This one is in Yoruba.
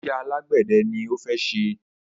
Iṣẹ́ alágbẹ̀dẹ ni ó fẹ́ ṣe.